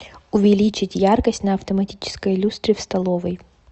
увеличить яркость на автоматической люстре в столовой